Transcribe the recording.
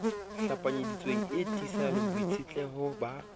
hlapanyeditsweng e tiisang boitshetleho ba